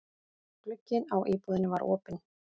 Glugginn á íbúðinni var opinn.